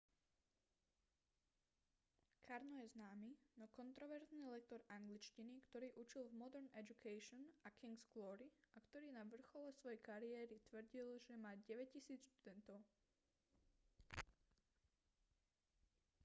karno je známy no kontroverzný lektor angličtiny ktorý učil v modern education a king's glory a ktorý na vrchole svojej kariéry tvrdil že má 9000 študentov